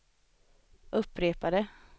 upprepade